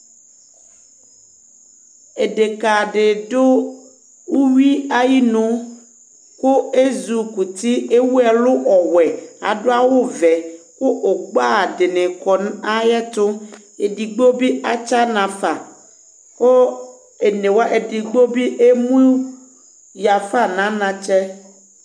Édéka di du uwui ayinu Ku ézukuti, éwu ɛlu ɔwʊɛ, adu awu ʋɛ, ku ugbă dinikɔ na ayɛtu Édigbo bi atchana fa Kuidigbo bi émuyafa naantchɛ